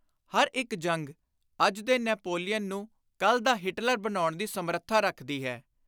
ਹਰ ਇਕ ਜੰਗ ਅੱਜ ਦੇ ਨੈਪੋਲੀਅਨ ਨੂੰ ਕੱਲ ਦਾ ਹਿਟਲਰ ਬਣਾਉਣ ਦੀ ਸਮਰੱਥਾ ਰੱਖਦੀ ਹੈ।